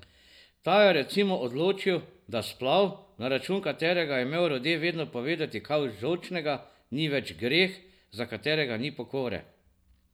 Ta je recimo odločil, da splav, na račun katerega je imel Rode vedno povedati kaj žolčnega, ni več greh, za katerega ni pokore.